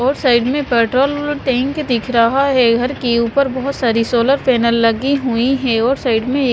और साइड में petrol tank दिख रहा है घर के ऊपर बहुत सारी सोलर पैनल लगी हुई हैं और साइड में --